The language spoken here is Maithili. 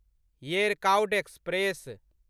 येरकाउड एक्सप्रेस